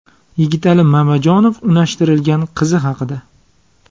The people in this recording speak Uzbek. Yigitali Mamajonov unashtirilgan qizi haqida.